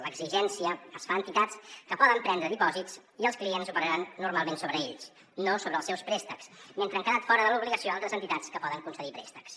l’exigència es fa a entitats que poden prendre dipòsits i els clients operaran normalment sobre ells no sobre els seus préstecs mentre que han quedat fora de l’obligació d’altres entitats que poden concedir préstecs